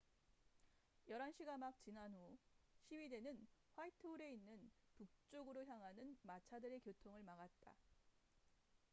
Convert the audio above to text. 11시가 막 지난 후 시위대는 화이트홀에 있는 북쪽으로 향하는 마차들의 교통을 막았다